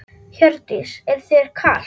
Hjördís: Er þér kalt?